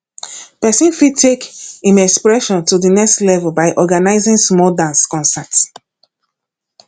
person fit take im expression to the next level by organizing small dance concert